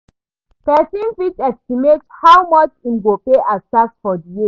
Person fit estimate how much im go pay as tax for di year